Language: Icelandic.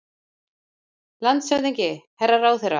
LANDSHÖFÐINGI: Herra ráðherra!